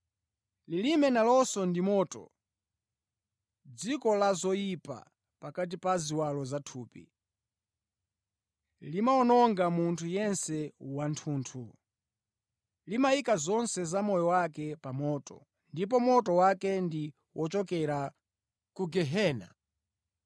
Lilime nalonso ndi moto, dziko la zoyipa pakati pa ziwalo za thupi. Limawononga munthu yense wathunthu. Limayika zonse za moyo wake pa moto, ndipo moto wake ndi wochokera ku gehena.